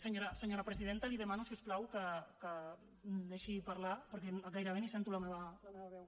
senyora presidenta li demano si us plau que em deixi parlar perquè gairebé ni sento la meva veu